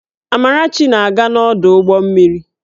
Amarachi na-aga n'ọdụ ụgbọ mmiri